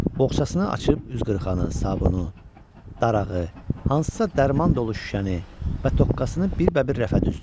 Boxçasını açıb üzqırxanı, sabunu, darağı, hansısa dərman dolu şüşəni və tokkasını bir-bir rəfə düzdü.